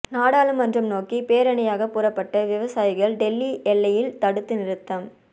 நாடாளுமன்றம் நோக்கி பேரணியாக புறப்பட்ட விவசாயிகள் டெல்லி எல்லையில் தடுத்து நிறுத்தம்